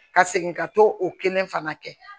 Ka segin ka t'o kelen fana kɛ